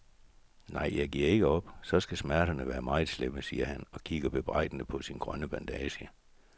Nej, jeg giver ikke op, så skal smerterne være meget slemme, siger han og kigger bebrejdende på sin grønne bandage.